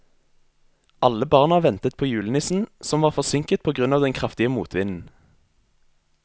Alle barna ventet på julenissen, som var forsinket på grunn av den kraftige motvinden.